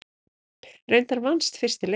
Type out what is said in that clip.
Reyndar vannst fyrsti leikur.